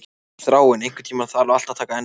Þráinn, einhvern tímann þarf allt að taka enda.